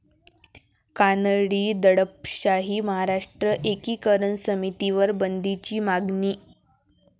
कानडी दडपशाही, महाराष्ट्र एकीकरण समितीवर बंदीची मागणी